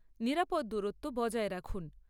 নিরাপদ দূরত্ব বজায় রাখুন।